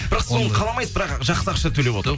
бірақ соны қаламайсыз бірақ жақсы ақша төлеп